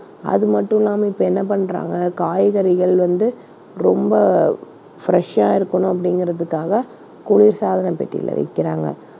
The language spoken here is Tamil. அது மட்டும் இல்லாம இப்ப என்ன பண்றாங்க காய்கறிகள் வந்து ரொம்ப fresh ஆ இருக்கணும் அப்படிங்கறதுக்காகக் குளிர்சாதன பெட்டியில வைக்கிறாங்க.